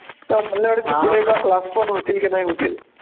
तर मला नाही वाटत पुढे class पण होतील की नाही होतील.